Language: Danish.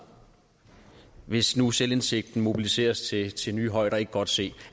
hvis nu selvindsigten mobiliseres til til nye højder ikke godt se